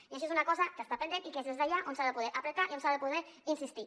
i això és una cosa que està pendent i que és des d’allà on s’ha de poder apretar i on s’ha de poder insistir